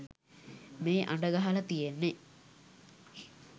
මේ අඬගහලා තියෙන්නේ